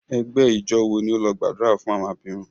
Ẹgbẹ ijọ wo ni o lọ gbadura fun awọn abirun?